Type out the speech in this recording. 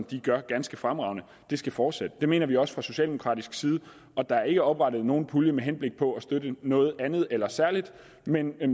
de gør ganske fremragende skal fortsætte det mener vi også fra socialdemokratisk side der er ikke oprettet nogen pulje med henblik på at støtte noget andet eller særligt men